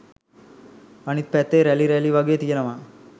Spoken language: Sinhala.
අනිත් පැත්තේ රැලි රැලි වගේ තියෙනවා